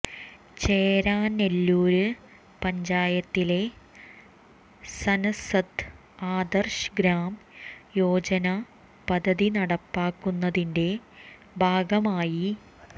ചേരാനെല്ലൂര് പഞ്ചായത്തില് സന്സദ് ആദര്ശ് ഗ്രാം യോജന പദ്ധതി നടപ്പാക്കുന്നതിന്റെ ഭാഗമായി